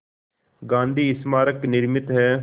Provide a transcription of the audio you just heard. गांधी स्मारक निर्मित है